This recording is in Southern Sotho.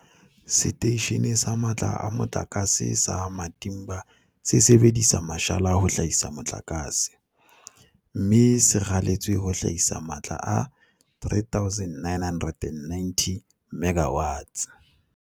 Seteishene sa Matla a Mo tlakase sa Matimba se sebedisa mashala ho hlahisa motlakase, mme se raletswe ho hlahisa matla a 3990 MW.